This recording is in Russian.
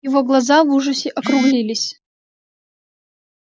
его глаза в ужасе округлились